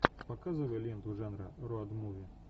показывай ленту жанра роуд муви